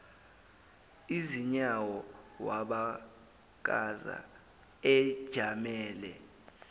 izinyawo wabakaza ejamele